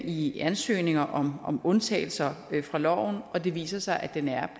i ansøgninger om om undtagelser fra loven og det viser sig at den er